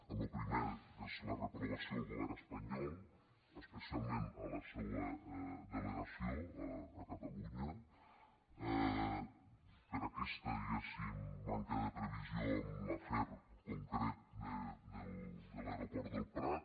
en lo primer que és la reprovació al govern espanyol especialment a la seua delegació a catalunya per aquesta diguéssim manca de previsió en l’afer concret de l’aeroport del prat